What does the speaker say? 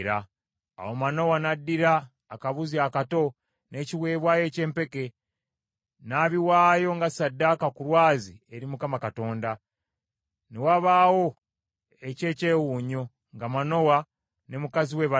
Awo Manowa n’addira akabuzi akato, n’ekiweebwayo eky’empeke, n’abiwaayo nga ssaddaaka ku lwazi eri Mukama Katonda. Mukama n’akola eky’ekyewuunyo nga Manowa ne mukazi we balaba.